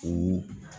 O